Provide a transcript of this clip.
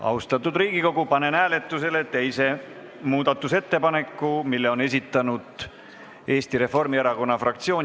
Austatud Riigikogu, panen hääletusele teise muudatusettepaneku, mille on esitanud Eesti Reformierakonna fraktsioon.